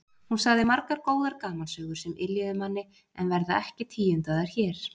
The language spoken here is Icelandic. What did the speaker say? Hún sagði margar góðar gamansögur sem yljuðu manni en verða ekki tíundaðar hér.